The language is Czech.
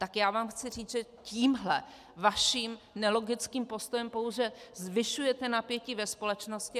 Tak já vám chci říct, že tímhle svým nelogickým postojem pouze zvyšujete napětí ve společnosti.